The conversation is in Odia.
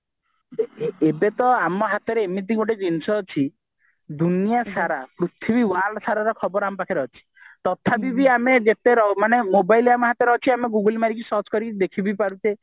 ଏବେ ତ ଆମ ହାତରେ ଏମିତି ଗୋଟେ ଜିନିଷ ଅଛି ଦୁନିଆ ସାରା ପୃଥିବୀ world ସାରା ର ଖବର ଆମ ପାଖରେ ଅଛି ତଥାପି ବି ଆମେ ଯେତେ ମାନେ mobile ଆମ ହାତରେ ଅଛି google ମରିକି search କରିକି ଦେଖି ବି ପାରୁଚେ